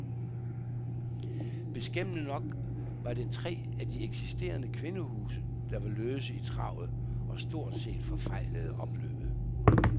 Beskæmmende nok var det tre af de eksisterende kvindehuse, der var løse i travet og stort set forfejlede opløbet.